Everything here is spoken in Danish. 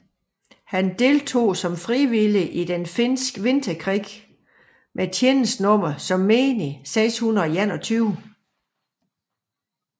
Han deltog som frivillig i Den finske Vinterkrig med tjenestenummer som menig 621